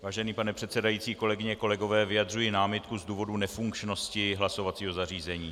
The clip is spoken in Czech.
Vážený pane předsedající, kolegyně, kolegové, vyjadřuji námitku z důvodu nefunkčnosti hlasovacího zařízení.